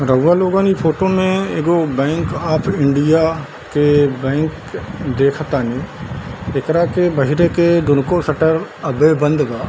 रउआ लोगन इ फोटो में एगो बैंक ऑफ़ इंडिया के बैंक देख तानी | एकरा के बहरे के दुनूको शटर अभी बंद बा |